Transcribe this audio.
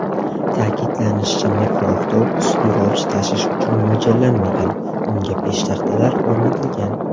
Ta’kidlanishicha, mikroavtobus yo‘lovchi tashish uchun mo‘ljallanmagan, unga peshtaxtalar o‘rnatilgan.